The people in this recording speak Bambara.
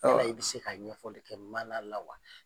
i bɛ se ka ɲɛfɔli kɛ ma la wa.